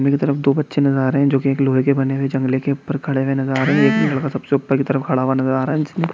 तरफ दो बच्चे नजर आ रहे हैं जो की एक लोहे के बने हुए जांगले के ऊपर खड़े हुए नजर आ रहे हैं एक लड़का सबसे ऊपर की तरफ खड़ा हुआ नजर आ रहा है।